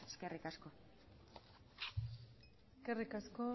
eskerrik asko eskerrik asko